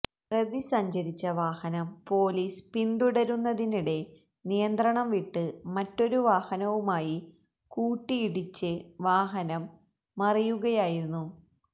പ്രതി സഞ്ചരിച്ച വാഹനം പൊലീസ് പിന്തുടരുന്നതിനിടെ നിയന്ത്രണം വിട്ട് മറ്റൊരു വാഹനവുമായി കൂട്ടിയിച്ച് വാഹനം മറിയുകയായിരുന്നു